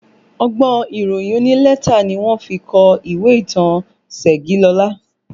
Ọgbọ́n ìròyìn onílẹ́tà ni wọ́n fi kọ ìwé ìtàn Segilola